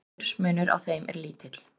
aldursmunur á þeim er lítill